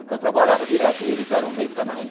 Porque eu trabalhava direto, eles eram um mês cada um.